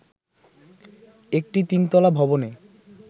একটি তিনতলা ভবনে